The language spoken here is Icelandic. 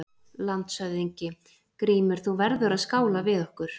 LANDSHÖFÐINGI: Grímur, þú verður að skála við okkur!